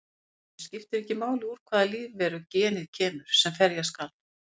Í raun skiptir ekki máli úr hvaða lífveru genið kemur sem ferja skal.